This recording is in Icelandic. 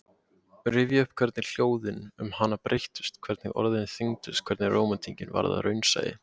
Rifja upp hvernig ljóðin um hana breyttust, hvernig orðin þyngdust, hvernig rómantíkin varð að raunsæi.